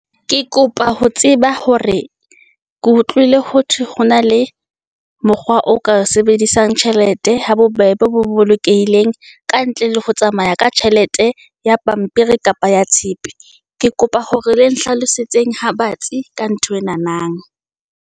Ke kopa ho tseba hore ke utlwile ho thwe ho na le mokgwa o ka sebedisang tjhelete ha bobebe bo bolokehileng. Kantle le ho tsamaya ka tjhelete ya pampiri kapa ya tshepe. Ke kopa hore le nhlalosetseng ha batsi ka nthwenanang.